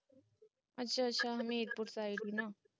ਅੱਛਾ ਅੱਛਾ ਹਮੀਰਪੁਰ ਗੀ ਨਾ